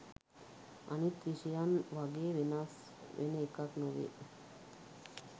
අනිත් විෂයක් වගේ වෙනස් වෙන එකක් නෙවෙයි.